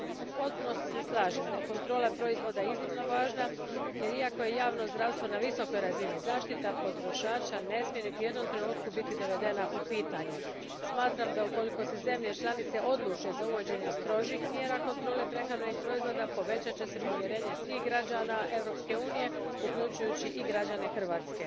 U potpunosti se slažem da je kontrola proizvoda iznimno važna jer iako je javno zdravstvo na visokoj razini, zaštita potrošača ne smije niti u jednom trenutku biti dovedena u pitanje. Smatram da ukoliko se zemlje članice odluče za uvođenje strožih mjera kontrole prehrambenih proizvoda, povećat će se povjerenje svih građana Europske unije, uključujući i građane Hrvatske.